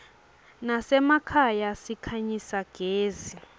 nasemakhaya sikhanyisa gezi